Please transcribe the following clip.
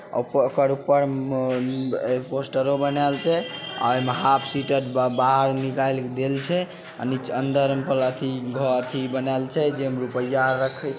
अ ऊपर ओकर ऊपर मे पोस्टरों बनाऐल छै आ ओय मे जेमे रूपेएया आर रखल छै।